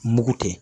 Mugu tɛ